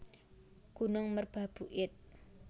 Gunung Merbabu id